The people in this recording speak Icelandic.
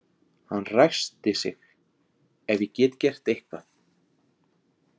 Hann ræskti sig: Ef ég get gert eitthvað.